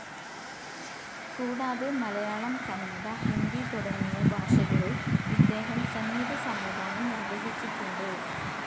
കൂടാതെ മലയാളം, കന്നട, ഹിന്ദി, തുടങ്ങിയ ഭാഷകളിൽ ഇദ്ദേഹം സംഗീത സംവിധാനം നിർവ്വഹിച്ചിട്ടുണ്ട്.